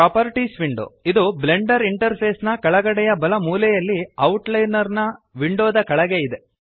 properties window ಇದು Blender interface ನ ಕೆಳಗಡೆಯ ಬಲ ಮೂಲೆಯಲ್ಲಿ ಔಟ್ಲೈನರ್ ವಿಂಡೋದ ಕೆಳಗೆ ಇದೆ